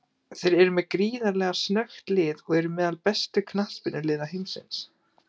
Þeir eru með gríðarlega snöggt lið og eru meðal bestu knattspyrnuliða heimsins.